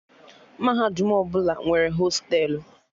Mahadum ọbụla nwere hostelu